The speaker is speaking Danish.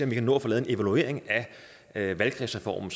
vi kan nå at få lavet en evaluering af valgkredsreformen